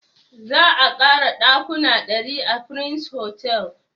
Za a ƙara ɗakuna ɗari a prince hotel